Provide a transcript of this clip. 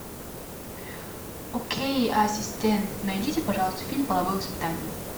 окей ассистент найдите пожалуйста фильм половое воспитание